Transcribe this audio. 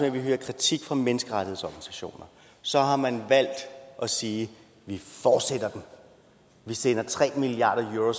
at vi hørte kritik fra menneskerettighedsorganisationer så har man valgt at sige vi fortsætter vi sender tre milliard euro